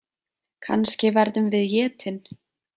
Kannski verðum við étin.